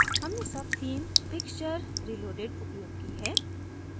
हमने subtheme pixture reloaded उपयोग की है